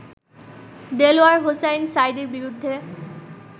দেলাওয়ার হোসাইন সাঈদীর বিরুদ্ধে